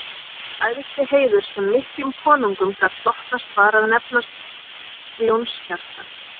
Æðsti heiður sem miklum konungum gat hlotnast var að nefnast ljónshjarta